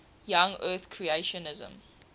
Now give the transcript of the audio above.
young earth creationism